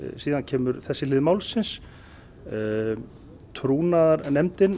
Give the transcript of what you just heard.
síðan kemur þessi hlið málsins